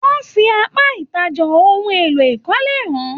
Wọn fí apá ìtajà ohùn èlò ìkọ́lé hàn-an.